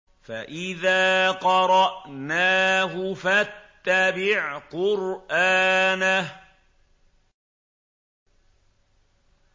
فَإِذَا قَرَأْنَاهُ فَاتَّبِعْ قُرْآنَهُ